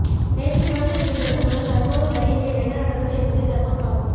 நேற்று குழந்தை விழுந்தது முதல் தற்போது வரை இங்கே என்ன நடந்தது என்பதை தற்போது பார்ப்போம்